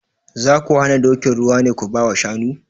Za ku hana dokin ruwa ne ku ba wa shanu?